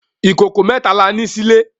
Ikókó mètá lá ni silé